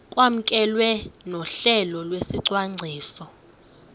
kwamkelwe nohlelo lwesicwangciso